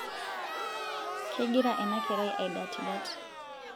kegira ena kerai aidatidat